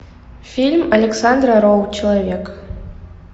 фильм александра роу человек